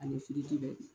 Ani bɛɛ